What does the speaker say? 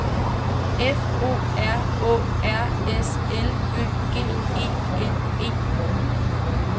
F O R Å R S L Ø G E N E